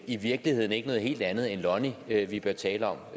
i virkeligheden ikke noget helt andet end lonnie vi bør tale om